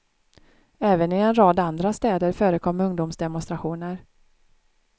Även i en rad andra städer förekom ungdomsdemonstrationer.